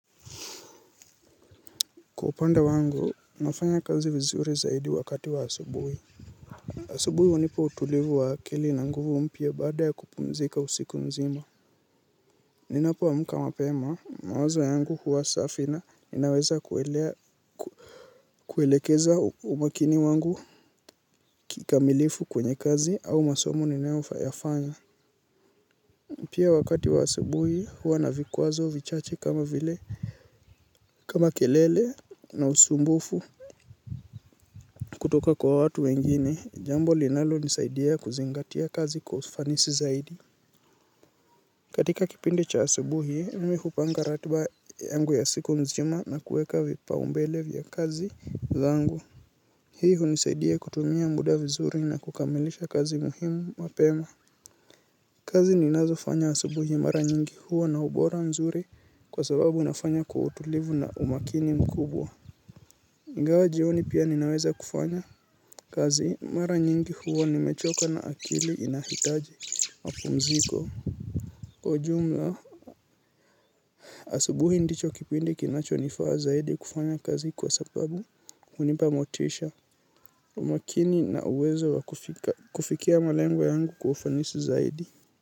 Kwa upande wangu nafanya kazi vizuri zaidi wakati wa asubuhi asubuhi hunipa utulivu wa akili na nguvu umpya baada ya kupumzika usiku mzima. Ninapo amka mapema mawazo yangu huwa safi na inaweza kuelea kuelekeza umakini wangu kikamilifu kwenye kazi au masomo ninayo yafayafanya. Pia wakati wa asubuhi huwa navikwazo vichache kama vile kama kelele na usumbufu kutoka kwa watu wengine, jambo linalo nisaidia kuzingatia kazi kwa ufanisi zaidi. Katika kipindi cha asubuhi, mimi kupanga ratiba yangu ya siku mzima na kueka vipa umbele vya kazi zangu. Hii hunisaidia kutumia muda vizuri na kukamilisha kazi muhimu wapema. Kazi ninazo fanya asubuhi mara nyingi hua na ubora mzuri kwa sababu nafanya kwa utulivu na umakini mkubwa. Ingawa jioni pia ninaweza kufanya kazi mara nyingi huwa nimechoka na akili inahitaji mapumziko. Kwa ujumla asubuhi ndicho kipindi kinacho nifaa zaidi kufanya kazi kwa sababu hunipa motisha. Umakini na uwezo wa kufika kufikia malengo yangu kwa ufanisi zaidi.